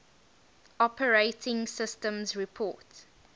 operating systems report